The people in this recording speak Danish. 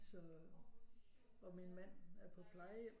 Så og min mand er på plejehjem